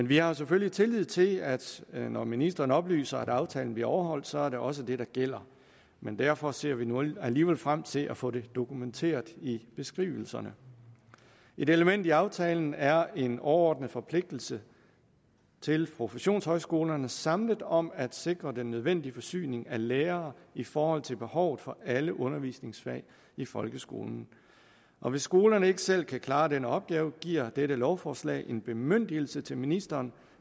vi har selvfølgelig tillid til at når ministeren oplyser at aftalen bliver overholdt så er det også det der gælder men derfor ser vi nu alligevel frem til at få det dokumenteret i beskrivelserne et element i aftalen er en overordnet forpligtelse til professionshøjskolerne samlet om at sikre den nødvendige forsyning af lærere i forhold til behovet for alle undervisningsfag i folkeskolen og hvis skolerne ikke selv kan klare den opgave giver dette lovforslag en bemyndigelse til ministeren